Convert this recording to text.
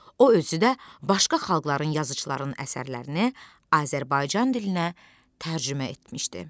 O özü də başqa xalqların yazıçılarının əsərlərini Azərbaycan dilinə tərcümə etmişdi.